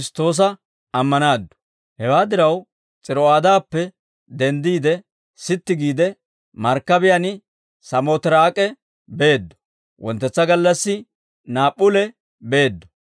Hewaa diraw, S'iro'aadappe denddiide, sitti giide markkabiyaan Saamootiraak'e beeddo; wonttetsa gallassi Naap'p'ule beeddo.